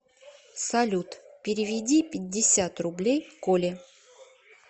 салют переведи пятьдесят рублей коле